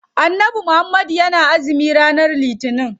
Annabi muhammad yana azumi ranar litinin.